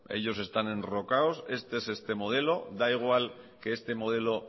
ellos están enrocados este es este modelo da igual que este modelo